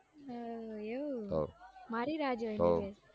હમ એવું મારી રાહ જોઈને બેઠ્યાં છો તો